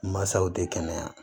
Masaw tɛ kɛnɛya